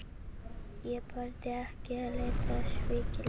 Ég þorði ekki að líta í spegilinn.